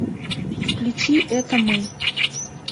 включи это мы